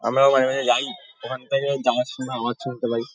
আমরাও মাঝে মাঝে যাই। ওখান থেকে যাওয়ার সময় আওয়াজ শুনতে পাই।